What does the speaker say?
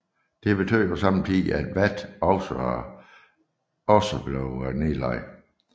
Dette betød på samme tid at VAT også blev nedlagt